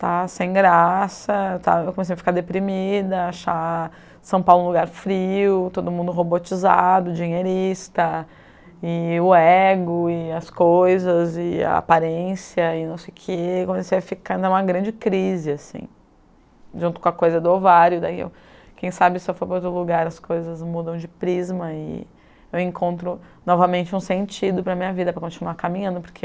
está sem graça, estava, eu comecei a ficar deprimida, achar São Paulo um lugar frio, todo mundo robotizado, dinheirista, e o ego, e as coisas, e a aparência, e não sei o que, comecei a ficar em uma grande crise, assim, junto com a coisa do ovário, daí eu quem sabe se eu for para outro lugar as coisas mudam de prisma e eu encontro novamente um sentido para minha vida, para continuar caminhando, porque